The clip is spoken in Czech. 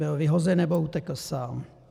Byl vyhozen, nebo utekl sám?